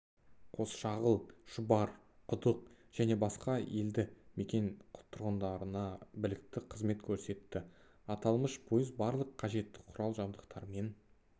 қосшағыл шұбар құдық және басқа елді-мекен тұрғындарына білікті қызмет көрсетті аталмыш пойыз барлық қажетті құрал-жабдықтармен